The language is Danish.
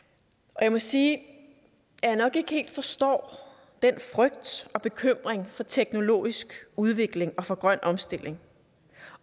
jeg må sige at jeg nok ikke helt forstår den frygt og bekymring for teknologisk udvikling og for grøn omstilling